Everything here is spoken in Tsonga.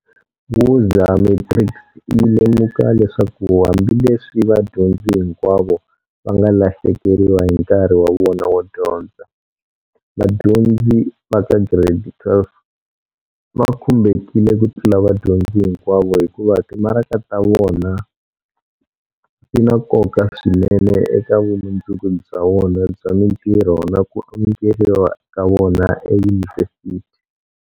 Woza Matrics yi lemuka leswaku hambileswi vadyondzi hinkwavo va nga lahlekeriwa hi nkarhi wa vona wo dyondza, vadyondzi va ka Giredi 12 va khumbhekile ku tlula vadyondzi hinkwavo hikuva timaraka ta vona ti na nkoka swinene eka vumundzuku bya vona bya mitirho na ku amukeriwa ka vona eyunivhesithi.